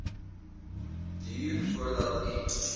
duur voordat u